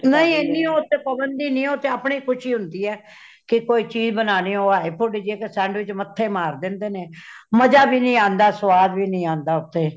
ਨਹੀਂ ਏਨੇ ਓਦੇ ਤੇ ਪਾਬੰਦੀ ਨਹੀਂ ,ਉਹ ਤੇ ਅਪਣੀ ਖੁਸ਼ੀ ਹੋਂਦੀ ਹੇ , ਕੇ ਕੋਈ ਚੀਜ ਬਨਾਨੀ ਹੈ , ਉਹ hey pudding ਵਿਚ ਇਕ sandwich ਮੱਥੇ ਮਾਰ ਦੇਂਦੇ ਨੇ ਮੰਜਾ ਵੀ ਨਹੀਂ ਆਉਂਦਾ ਸੁਵਾਦ ਵੀ ਨਹੀਂ ਆਉਂਦਾ ਉੱਥੇ